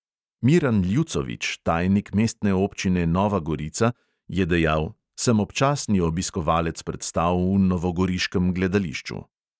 Miran ljucovič, tajnik mestne občine nova gorica, je dejal: "sem občasni obiskovalec predstav v novogoriškem gledališču."